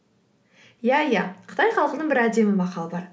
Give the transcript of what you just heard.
иә иә қытай халқының бір әдемі мақалы бар